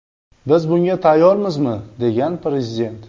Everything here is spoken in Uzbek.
Biz bunga tayyormizmi?”, degan Prezident.